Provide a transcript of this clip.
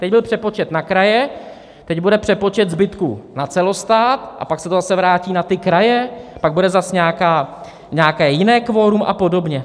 Teď byl přepočet na kraje, teď bude přepočet zbytku na celostát a pak se to zase vrátí na ty kraje, pak bude zase nějaké jiné kvorum, a podobně.